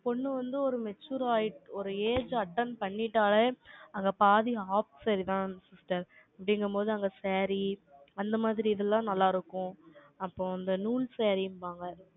ஒரு பொண்ணு வந்து, ஒரு mature ஆயிட்டு, ஒரு age attend பண்ணிட்டாலே, அங்க பாதி half saree தான், sister அப்படிங்கும்போது, அங்க saree, அந்த மாதிரி, இதெல்லாம் நல்லா இருக்கும். அப்போ, அந்த நூல் saree ம்பாங்க